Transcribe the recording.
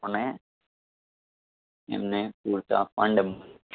કોને એમને પૂરતા fund